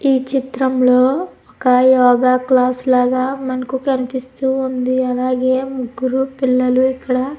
ఈ చిత్రంలో ఒక యోగ క్లాస్ లాగ మనకు కనిపిస్తూ ఉంది అలాగే ముగ్గురు పిల్లలు ఇక్కడ --